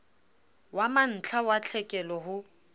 wa mantlha wa tlhekelo ho